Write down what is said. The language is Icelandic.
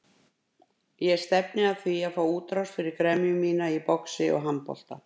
Ég stefni að því að fá útrás fyrir gremju mína í boxi og handbolta.